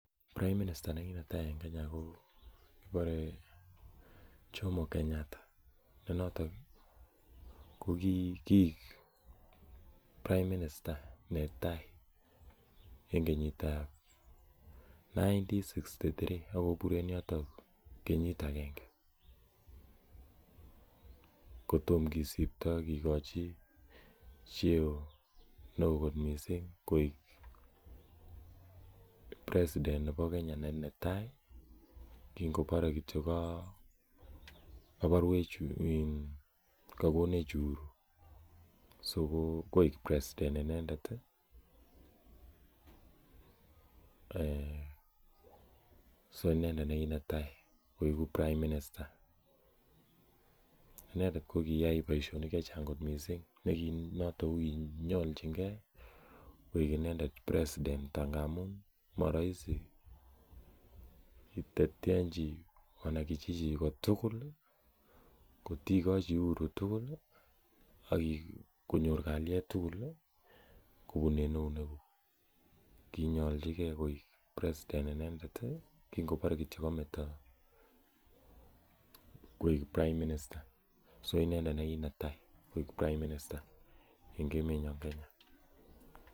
Prime minister nekinetai en Kenya ko kibore Jomo Kenyatta. Ne noton ih ko koek Prime minister netai en kenyitab elibut agenge ak tamanuagil bokol sogol ak sitini ak somok. Kenyit agenge kotom kisibto kikochi cheoo koik president netai kingobore kityo kakonech Uhuru koek President inendet ih so inendet nekitai koeku prime minister inendet kokiyai baisionik chechang missing koki nyorchike koek inendet kandoindet kotikochi uhuru tugul ih konyor kaliet tugul akibun eunek kug . Kinyolchige president inendet ih koek prime minister en emet nyon bo Kenya